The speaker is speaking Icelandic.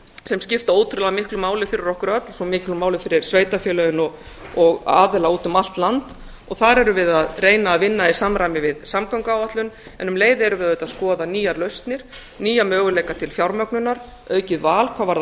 sem skipta ótrúlega miklu máli fyrir okkur öll svo miklu máli fyrir sveitarfélögin og aðila út um allt land þar erum við að reyna að vinna í samræmi við samgönguáætlun en um leið erum við auðvitað að skoða nýjar lausnir nýja möguleika til fjármögnunar aukið val hvað varðar